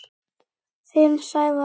Þinn, Sævar.